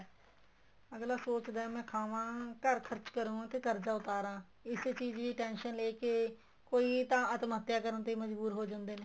ਅੱਗਲਾ ਸੋਚਦਾ ਏ ਮੈਂ ਖਾਵਾ ਘਰ ਖਰਚਾ ਕਰਾ ਤੇ ਕਰਜਾ ਉੱਤਾਰਾ ਇਸੇ ਚੀਜ਼ ਦੀ tension ਲੈਕੇ ਕੋਈ ਤਾਂ ਆਤਮ ਹੱਤਿਆ ਕਰਨ ਲਈ ਮਜਬੂਰ ਹੋ ਜਾਂਦੇ ਨੇ